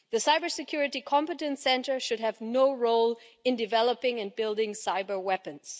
The Cybersecurity Competence Centre should have no role in developing and building cyber weapons.